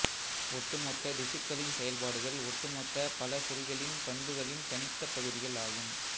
ஒட்டுமொத்த திசுக்களின் செயல்பாடுகள் ஒட்டுமொத்த பல செல்களின் பண்புகளின் தனித்த பகுதிகள் ஆகும்